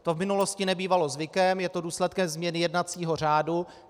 To v minulosti nebývalo zvykem, je to důsledkem změny jednacího řádu.